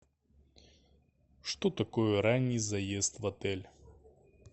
что такое ранний заезд в отель